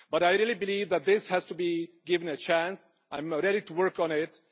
I really believe that this has to be given a chance and I am ready to work on it.